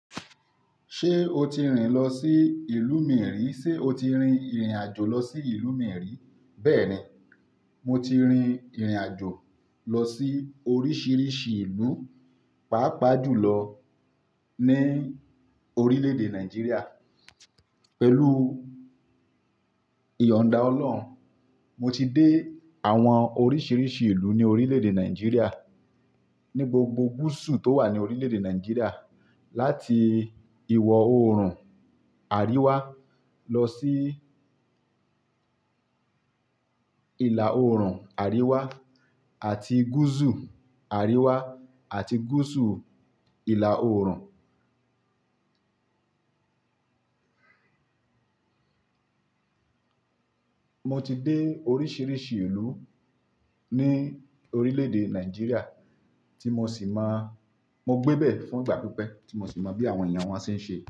Ṣé o ti rìn lọ sí ìlú mìíràn? Sé o ti rin ìrìnàjò lọ sí ìlú yen ri Bẹ́ẹ̀ni, mo ti rin ìrìnàjò lọ sí oríṣìíríṣìí ìlú, pàápàá jùlọ ní orílédé Nàìjíríà. Pẹ̀lú ìyọ̀nnda Ọlọ́run, mo ti dé àwọn oríṣìíríṣìí ìlú ní orílédé Nàìjíríà, ní gbogbo gúúsù tó wà ní orílédé Nàìjíríà, láti ìwọ̀ oòrùn Àríwá lọ sí ìlà oòrùn Àríwá àti gúúsù Àríwá àti gúúsù ìlà oòrùn. Mo ti dé oríṣìíríṣìí ìlú ní orílédé Nàìjíríà tí mo sì má-- mo gbébẹ̀ fún ìgbà pípẹ́, tí mo sì mọ bí àwọn èèyàn wọn ṣe ń ṣe.